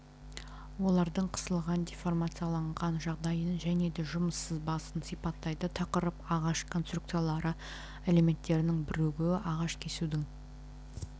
олардың қысылған деформацияланған жағдайын және де жұмыс сызбасын сипаттайды тақырып ағаш конструкциялары элементтерінің бірігуі ағаш кесудің